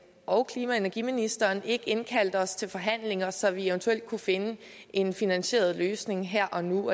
og klima og energiministeren ikke indkaldt os til forhandlinger så vi eventuelt kunne finde en finansieret løsning her og nu